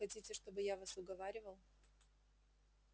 хотите чтобы я вас уговаривал